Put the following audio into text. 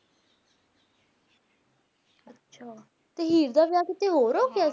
ਅੱਛਾ ਤੇ ਹੀਰ ਦਾ ਵਿਆਹ ਕੀਤੇ ਹੋਰ ਹੋ ਗਿਆ ਸੀ